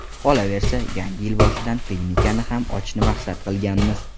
Qolaversa, yangi yil boshidan klinikani ham ochishni maqsad qilganmiz.